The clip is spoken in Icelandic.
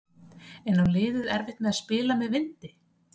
En á liðið erfitt með að spila með vindi?